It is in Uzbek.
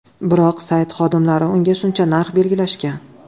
Biroq sayt xodimlari unga shuncha narx belgilashgan.